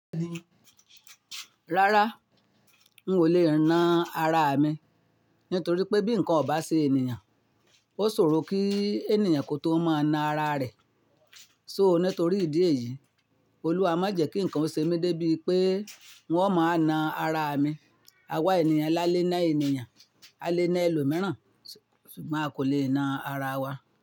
Rárá, n ò lè na ara mi, nítorí pé bí nǹkan ò bá ṣe ènìyàn, ó sòro kí ènìyàn kó tó máa na ara rẹ̀. So nítorí ìdí èyí, Olúwa má jẹ́ kí nǹkan ṣe mí dé bí pé ng o máa na ara mi. Awá ènìyàn lá lé ná ènìyàn, a lé ná ẹlòmíràn, ṣùgbọ́n a kò lè na ara wa.